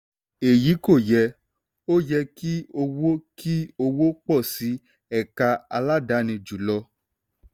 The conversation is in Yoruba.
èyí kò yẹ; ó yẹ kí owó kí owó pọ̀ sí ẹ̀ka aládáàni ju lọ.